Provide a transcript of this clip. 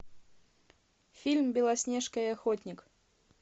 фильм белоснежка и охотник